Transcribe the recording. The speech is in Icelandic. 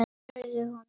spurði hún